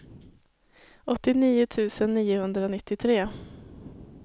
åttionio tusen niohundranittiotre